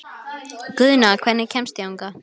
Guðna, hvernig kemst ég þangað?